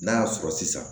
N'a y'a sɔrɔ sisan